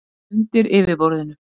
Undir yfirborðinu